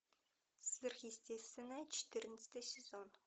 сверхъестественное четырнадцатый сезон